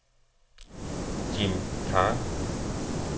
Jim Khan